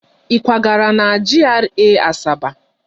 Ị kwagara na GRA Asaba?